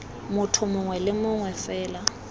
motho mongwe le mongwe fela